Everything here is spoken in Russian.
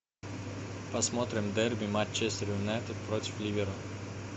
посмотрим дерби манчестер юнайтед против ливера